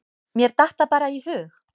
Mér datt það bara í hug.